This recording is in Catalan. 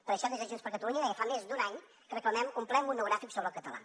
per això des de junts per catalunya ja fa més d’un any que reclamem un ple monogràfic sobre el català